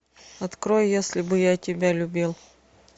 открой если бы я тебя любил